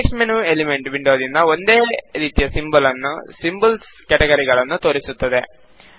context menu element ವಿಂಡೋದಂತೆ ಒಂದೇ ರೀತಿಯ ಸಿಂಬಲ್ ಸ್ ಕೆಟಗರಿಗಳನ್ನು ತೋರಿಸುತ್ತದೆ